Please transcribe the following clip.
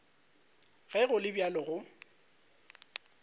ge go le bjalo go